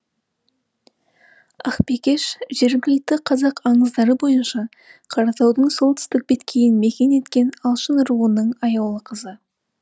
ақбикеш жергілікті қазақ аңыздары бойынша қаратаудың солтүстік беткейін мекен еткен алшын руының аяулы қызы